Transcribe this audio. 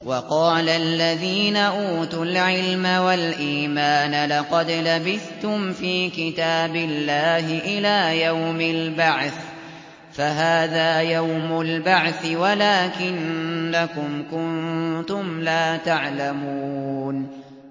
وَقَالَ الَّذِينَ أُوتُوا الْعِلْمَ وَالْإِيمَانَ لَقَدْ لَبِثْتُمْ فِي كِتَابِ اللَّهِ إِلَىٰ يَوْمِ الْبَعْثِ ۖ فَهَٰذَا يَوْمُ الْبَعْثِ وَلَٰكِنَّكُمْ كُنتُمْ لَا تَعْلَمُونَ